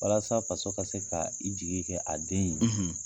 Walasa faso ka se kaa i jigi kɛ a den ye